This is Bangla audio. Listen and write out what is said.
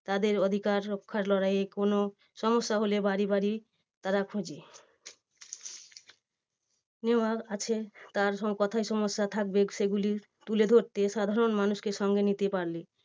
তাদের অধিকার রক্ষার লড়াইয়ে কোনো সমস্যা হলে বাড়ি বাড়ি তারা খোঁজে নেওয়ার আছে। তার কোথায় সমস্যা থাকবে সেগুলি তুলে ধরতে সাধারন মানুষকে সঙ্গে নিতে পারবে।